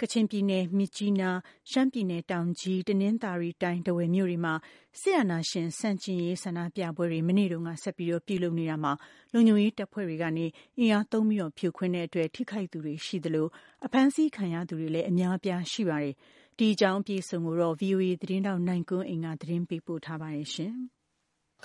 ကချင်ပြည်နယ် မြစ်ကြီးနား၊ ရှမ်းပြည်နယ် တောင်ကြီး၊ တနင်္သာရီတိုင်း ထားဝယ်မြို့တွေမှာ စစ်အာဏာရှင် ဆန့်ကျင်ရေး ဆန္ဒပြတဲ့ပွဲ ဆက်လက်ပြုလုပ်နေတာမှာ လုံခြုံရေးတပ်ဖွဲ့တွေကနေ အင်အားသုံးဖြိုခွင်းခဲ့လို့ ထိခိုက်သူတွေရှိခဲ့သလို အဖမ်းဆီးခံရသူတွေကလဲ အများပြားရှိနေတာပါ။ ဒီအကြောင်း ဗွီအိုအေ သတင်းထောက် ကိုနိုင်ကွန်းအိန်ကနေ သတင်းပေးပို့ထားပါတယ်။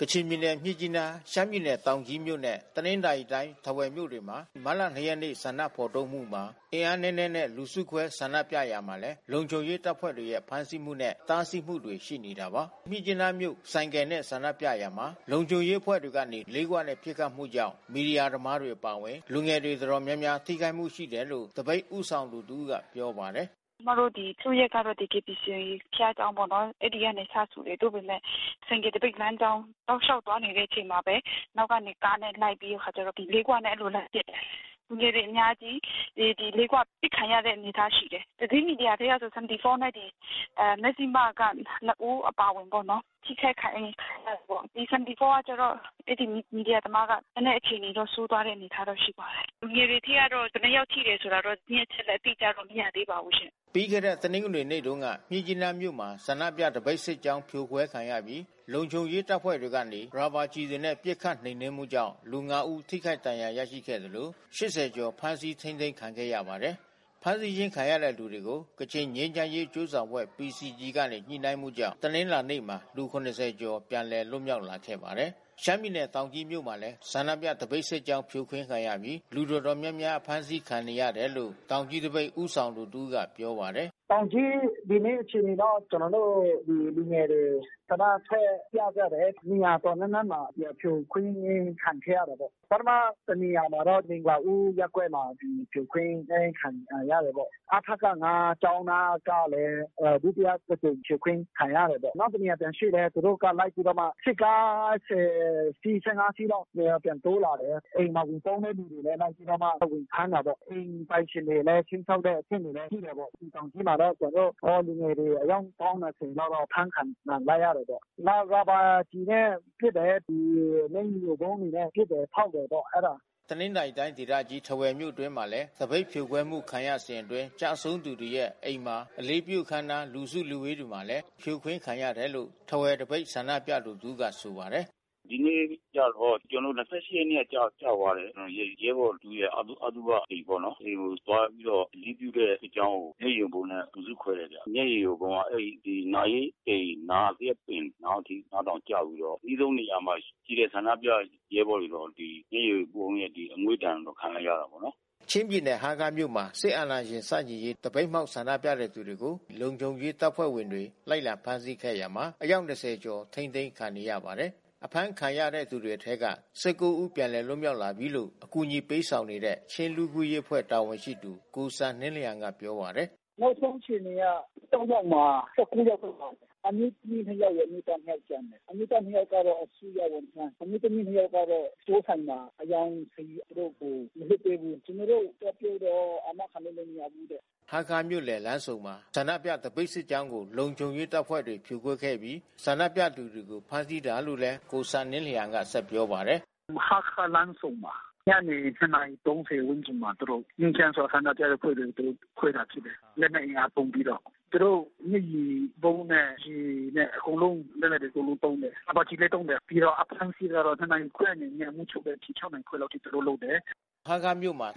ကချင်ပြည်နယ် မြစ်ကြီးနား၊ ရှမ်းပြည်နယ် တောင်ကြီးမြို့နဲ့ တနင်္သာရီတိုင်း ထားဝယ်မြို့တွေမှာ မတ်လ ၂ ရက်နေ့ ဆန္ဒဖော်ထုတ်မှုမှာ အင်အားနည်းနည်းနဲ့ လူစုခွဲဆန္ဒပြရာမှာလည်း လုံခြုံရေးတပ်ဖွဲ့တွေရဲ့ ဖမ်းဆီးမှုနဲ့ တားဆီးမှုတွေကတော့ ရှိနေတာပါ။ ဒီနေ့ မြစ်ကြီးနားမြို့ ဆိုင်ကယ်နဲ့ ဆန္ဒပြရာမှာ လုံခြုံရေးအဖွဲ့တွေကနေ လေးခွနဲ့ ပစ်ခတ်မှုကြောင့် မီဒီယာသမားတွေ အပါအဝင် လူငယ်တွေတော်တော်များများ ထိခိုက်မှု ရှိတယ်လို့ သပိတ်ဦးဆောင်သူတဦးကပြောပါတယ်။ “ဒီနေ့က ကျွန်မတို့စုရပ်ကတော့ ဒီ KBC ဘုရားကျောင်းပေါ့နော်။ အဲဒီက စစုတယ်။ သို့ပမယ့် ဆိုင်ကယ်သပိတ်လမ်းကြောင်း တောက်လျှောက်သွားနေတဲ့အချိန်မှာပဲ နောက်ကနေကားနဲ့ လိုက်ပြီးတဲ့အခါကျတော့ လေးခွနဲ့ အဲဒီလို လိုက်ပစ်တယ်။ လူငယ်တွေ အများကြီး ဒီလေးခွနဲ့ အပစ်ခံရတဲ့ အနေအထားရှိတယ်။ သတင်းမီဒီယာထဲကဆို 74 နဲ့ မဇ္ဖျိမက နှစ် ဦးအပါအဝင်ပေါ့နော်။ ထိခိုက်ခံရတယ်ပေါ့။ 74 ကကျတော့ အဲဒီ မီဒီယာသမားကကျတော့ နည်းနည်းအခြေအနေ ဆိုးသွားတဲ့အနေထားရှိပါတယ်။ လူငယ်တွေထဲကတော့ ဘယ်နှစ်ယောက်ထိတယ်ဆိုတာကတော့ သတင်းအချက်လက် အတိအကျတော့ မရသေးပါဘူး။” ပြီးခဲ့တဲ့ တနင်္ဂနွေနေ့တုန်းက မြစ်ကြီးနားမြို့မှာ ဆန္ဒပြသပိတ်စစ်ကြောင်း ဖြိုခွဲခံရပြီး လုံခြုံရေးတပ်ဖွဲ့တွေကနေ ရာဘာကျည်တွေနဲ့ ပစ်ခတ်နှိမ်နှင်းမှုကြောင့် လူ ငါး ဦး ထိခိုက်ဒဏ်ရာရရှိသလို ၈၀ ကျော် ဖမ်းဆီးထိန်းသိမ်းခံခဲ့ရပါတယ်။ ဖမ်းဆီးခြင်းခံရတဲ့သူတွေကို ကချင်ငြိမ်းချမ်းရေးအကျိုးဆောင်အဖွဲ့ PCG ကနေ ညှိနှိုင်းမှုကြောင့် တနင်္လာနေ့မှာ လူ ၇၀ ကျော်ပြန်လည် လွတ်မြောက်လာခဲ့ပါတယ်။ ရှမ်းပြည်နယ် တောင်ကြီးမြို့မှာလည်း ဆန္ဒပြသပိတ်စစ်ကြောင်း ဖြိုခွင်းခံရပြီး လူတော်တော်များများ အဖမ်းဆီးခံရတယ်လို့ တောင်ကြီးသပိတ်ဦးဆောင်သူ တဦးကပြောပါတယ်။ “တောင်ကြီး ဒီနေ့ အခြေအနေတော့ ကျနော်တို့ လူငယ်တွေ ဆန္ဒထွက်ပြကြတယ်။ နေရာတော်တော်များများမှာ ဖြိုခွင်းခံခဲ့ရတာပေါ့။ ပထမတနေရာမှာတော့ မင်္ဂလာဦးရပ်ကွက်မှာ ဖြိုခွင်းခံရတာပေါ့။ အထက ၅ ကျောင်းနားကလည်း ဒုတိယတကြိမ် ဖြိုခွင်းခံရတာပေါ့။ နောက်တနေရာ ပြန်ရွှေ့လည်း သူတို့က လိုက်ပြီး စစ်ကား ၁၀ စီး၊ ၁၅ စီးလောက် ပြန် တိုးလာတယ်။ အိမ်မှာ ဝင်ပုန်းတဲ့သူတွေကိုလည်း လိုက်ပြီးတော့မှ ဝင်ဖမ်းတာပေါ့။ အိမ်ပိုင်ရှင်ကိုလည်း ခြိမ်းခြောက်တဲ့အဆင့်ထိ ရှိတယ်ပေါ့။ ဒီတောင်ကြီးမှာတော့ ကျနော်တို့ လူငယ်တွေ အယောက်ပေါင်းမယ်ဆိုရင်ကတော့ အဖမ်းခံကြရတယ်ပေါ့။ နောက်ရာဘာကျည်တွေနဲ့ပစ်တယ်၊ မျက်ရည်ယိုဗုံးတွေနဲ့ ပစ်တယ်၊ ဖောက်တယ်ပေါ့။” တနင်္သာရီတိုင်းဒေသကြီး ထားဝယ်မြို့တွင်းမှာလည်း သပိတ်ဖြိုခွဲမှု ခံရစဉ်အတွင်း ကျဆုံးသူတွေရဲ့ အိမ်မှာ အလေးပြု အခမ်းအနား လူစုလူဝေးတွေမှာလည်း ဖြိုခွင်းခံရတယ်လိုရ ထားဝယ် သပိတ်ဆန္ဒပြသူတဦးက ဆိုပါတယ်။ “ဒီနေ့ကျတော့ ကျနော်တို့ ၂၈ ရက်နေ့က ကျသွားတဲ့ ရဲဘော်တွေရဲ့ အသုဘအိမ်ပေါ့နော်။ အိမ်ကိုသွားပြီးတော့ အလေးပြုတဲ့စစ်ကြောင်းကို မျက်ရည်ယိုဗုံးနဲ့ လူစုခွဲတယ်ဗျ။ မျက်ရည်ယိုဗုံးက အဲဒီ နာရေးအိမ်နားက သရက်ပင်နား အထိကျပြီးတော့ အနီးဆုံးနေရာမှာရှိတဲ့ ဆန္ဒပြရဲဘော်တွေ မျက်ရည်ယိုဗုံးရဲ့ အငွေ့ဒဏ်တွေကို ခံရတာပေါ့။ ချင်းပြည်နယ် ဟားခါးမြို့မှာ စစ်အာဏာရှင်ဆန့်ကျင်ရေး သပိတ်မှောက် ဆန္ဒပြတဲ့သူတွေကို လုံခြုံရေးတပ်ဖွဲ့ဝင်တွေ လိုက်လံဖမ်းဆီးခဲ့ရာမှာ အယောက် ၂၀ ကျော်ထိန်းသိမ်းခံနေရပါတယ်။ အဖမ်းဆီးခံရသူတွေအထဲက ဒီနေ့ ညနေပိုင်းမှာ ၁၉ ဦး ပြန်လွတ်လာပြီလို့ အကူညီပေးဆောင်နေတဲ့ ချင်းလူ့အခွင့်အရေးအဖွဲ့ တာဝန်ရှိသူ ကိုဆန်နင်းလျှန်ကပြောပါတယ်။ “နောက်ဆုံးအခြေအနေက ၂၃ ယောက်မှာ ၁၉ ယောက်ပြန်လွတ်လာတယ်။ အမျိုးသမီး နှစ် ယောက်ရယ်၊ အမျိုးသား နှစ် ယောက်ကျန်တယ်။ အမျိုးသား နှစ် ယောက်ကတော့အစိုးရဝန်ထမ်း၊ အမျိုးသမီး တစ်ယောက်ကတော့ စတိုးဆိုင်မှာ အရောင်းစာရေး။ သူတို့ကိုမလွှတ်ပေးဘူး။ ကျနော်တို့ သွားပြောတော့ အာမခံလည်း မရဘူးတဲ့။” ဟားခါးမြို့လယ်လမ်းဆုံမှာ ဆန္ဒပြသပိတ်စစ်ကြောင်းကို လုံခြုံရေးတပ်ဖွဲ့တွေက ဖြိုခွဲခဲ့ပြီး ဆန္ဒပြသူတွေကို ဖမးဆီးတာလို့လည်း ကိုဆန်နင်းလျှန်က ဆက်ပြောပါတယ်။ “ဟားခါးလမ်းဆုံမှာ။ ညနေ ၂ နာရီ ၃၀ ဝန်းကျင်မှာ ငြိမ်းချမ်းစွာ ဆန္ဒပြတဲ့အဖွဲ့တွေကို သူတို့ ခွဲတာဖြစ်တယ်။ လက်နက်အင်အားသုံးပြီးတော့ သူတို့ မျက်ရည်ယိုဗုံးနဲ့၊ ရေနဲ့ အကုန်လုံး လက်နက်တွေ အကုန်လုံး သုံးတယ်။ ရာဘာကျည်လည်း သုံးတယ်။ ပြီးတော့အဖမ်းဆီးကတော့ ၂ နာရီခွဲအနေနဲ့ မိုးချုပ်တဲ့အထိ ၆ နာရီခွဲတဲ့အထိ သူတို့လုပ်တယ်။” ဟားခါးမြို့မှာ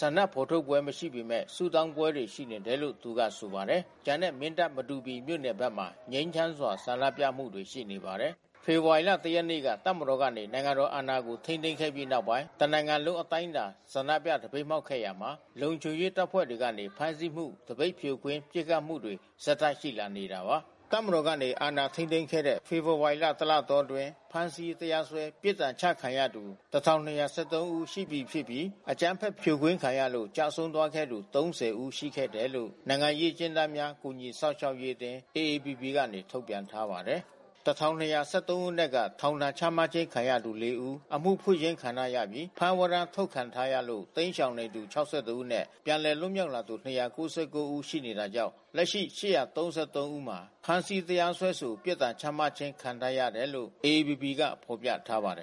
ဆန္ဒဖော်ထုတ်ပွဲ မရှိပေမဲ့ ဆုတောင်းပွဲတွေ ရှိနေတယ်လို့ သူကဆိုပါတယ်။ ကျန်တဲ့ မင်းတပ် မတူပီမြို့နယ်ဘက်မှာ ငြိမ်းချမ်းစွာ ဆန္ဒပြမှုတွေ ရှိနေပါတယ်။ ဖေဖော်ဝါရီ ၁ ရက်နေ့က တပ်မတော်ကနေ နိုင်ငံတော်အာဏာကို ထိန်းသိမ်းခဲ့ပြီးနောက်ပိုင်း တနိုင်ငံလုံး အတိုင်းအတာနဲ့ ဆန္ဒပြသပိတ်မှောက်ခဲ့ရာမှာ လုံခြုံရေးတပ်ဖွဲ့တွေကနေ ဖမ်းဆီးမှု၊ သပိတ်ဖြိုခွဲ ပစ်ခတ်မှုတွေ ဆက်တိုက် ရှိလာနေတာပါ။ တပ်မတော် အာဏာထိန်းသိမ်းခဲ့တဲ့ ဖေဖော်ဝါရီ တစ်လ အတောအတွင်း ဖမ်းဆီး၊ တရားစွဲ ပြစ်ဒဏ်ချခံရသူ ၁,၂၁၃ ဦး ရှိပြီဖြစ်ပြီး အကြမ်းဖက် ဖြိုခွင်းခံရလို့ ကျဆုံးသွားခဲ့သူ ၃၀ ဦးခန့် ရှိခဲ့တယ်လို့ နိုင်ငံရေး အကျဉ်းသားများ ကူညီစောင့်ရှောက်ရေးအသင်း ကနေ ထုတ်ပြန်ထားပါတယ်။ ၁,၂၁၃ ဦးအနက်က ထောင်ဒဏ်ချမှတ်ခြင်း ခံထားရသူ လေး ဦး၊ အမှုဖွင့်ခြင်းခံထားရပြီး ဖမ်းဝရမ်း ထုတ်ခံထားရလို့ တိမ်းရှောင်နေသူ ၆၁ ဦးနဲ့ ပြန်လည်လွတ်မြောက်လာသူ ၂၉၉ ဦး ရှိတာကြောင့် လက်ရှိ ၈၃၃ ဦးမှာ ဖမ်းဆီး၊ တရားစွဲဆို၊ ပြစ်ဒဏ်ချမှတ်ခြင်း ခံထားရတယ်လို့လည်း AAPP က ဖော်ပြထားပါတယ်